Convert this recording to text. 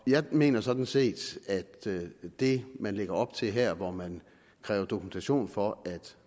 jeg mener sådan set at det man lægger op til her hvor man kræver dokumentation for at